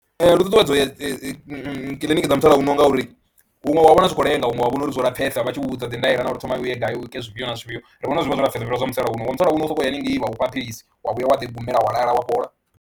Ee, lu ṱuṱuwedza u ya dzi kiḽiniki dza musalauno ngauri huṅwe wa wana zwi khou lenga huṅwe wa vhona uri zwo lapfhesa vha tshi u vhudza dzi ndaela na uri u thoma u ye gai u ite zwifhio na zwifhio, ri vhona uri zwi vha zwo lapfhesa u fhira zwa musalauno, zwa musalauno u sokou ya haningei vha u fha philisi wa vhuya wa ḓi gumela wa lala wa fhola.